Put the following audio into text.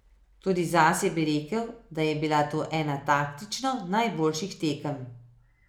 Tudi zase bi rekel, da je bila to ena taktično najboljših tekem.